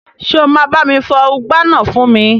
Ṣé o máa bá mi fọ ùgbá náà fún mi?